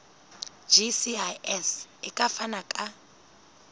gcis e ka fana ka